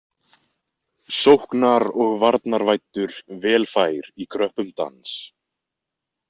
Sóknar- og varnarvæddur vel fær í kröppum dans.